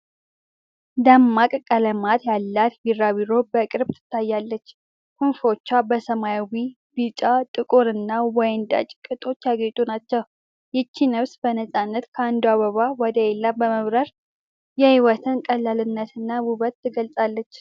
ደማቅ ቀለማት ያላት ቢራቢሮ በቅርብ ትታያለች። ክንፎቿ በሰማያዊ፣ ቢጫ፣ ጥቁር እና ወይንጠጅ ቅጦች ያጌጡ ናቸው። ይህች ነፍስ በነፃነት ከአንዱ አበባ ወደ ሌላው በመብረር የሕይወትን ቀላልነትና ውበት ትገልጻለች።